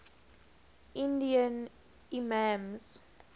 indian imams